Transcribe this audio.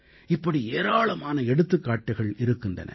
இப்படி ஏராளமான எடுத்துக்காட்டுகள் இருக்கின்றன